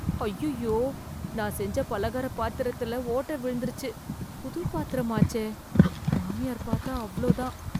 ஐய்யயோ நான் செஞ்ச பலகார பாத்திரத்தில ஓட்டை விழுந்துருச்சு. புது பாத்திரமாச்சே. மாமியார் பாத்தா அவ்ளோ தான்.